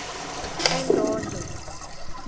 endondo